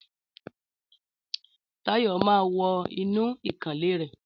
Táyọ̀ máà wọ inú ìkànnlé rẹ.